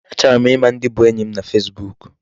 Achọrọ ịma ndị bụ enyi m na Facebook.